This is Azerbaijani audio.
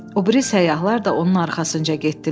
O biri səyyahlar da onun arxasınca getdilər.